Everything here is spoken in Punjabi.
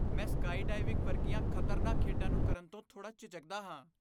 ਮੈਂ ਸਕਾਈਡਾਈਵਿੰਗ ਵਰਗੀਆਂ ਖ਼ਤਰਨਾਕ ਖੇਡਾਂ ਨੂੰ ਕਰਨ ਤੋਂ ਥੋੜ੍ਹਾ ਝਿਜਕਦਾ ਹਾਂ।